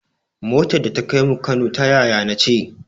Motar da ta kaimu Kano ta yaya na ce